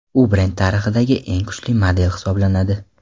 U brend tarixidagi eng kuchli model hisoblanadi.